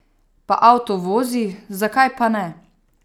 Pa avto vozi, zakaj pa ne?